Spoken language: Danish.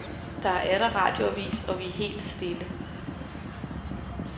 Der er atter radioavis og vi er helt stille.